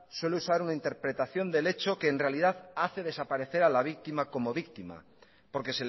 suele usar interpretación del hecho que en realidad hace desaparecer a la víctima como víctima porque